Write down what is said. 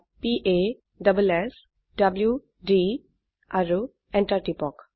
p a s s w D আৰু enter টিপক